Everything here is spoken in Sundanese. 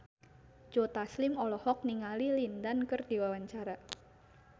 Joe Taslim olohok ningali Lin Dan keur diwawancara